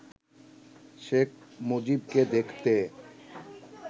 শেখ মুজিবকে দেখতে